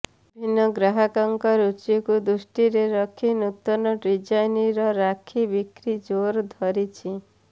ବିଭିନ୍ନ ଗ୍ରାହକଙ୍କ ରୁଚିକୁ ଦୃଷ୍ଟିରେ ରଖି ନୂତନ ଡ଼ିଜାଇନର ରାକ୍ଷୀ ବିକ୍ରି ଜୋର ଧରିଛି